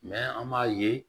an b'a ye